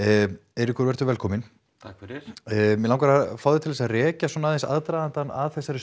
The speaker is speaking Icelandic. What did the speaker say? Eiríkur vertu velkominn takk fyrir mig langar að fá þig til að rekja aðdragandann að þessu